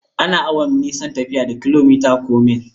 Ana auna nisan tafiya da kilomita or mil.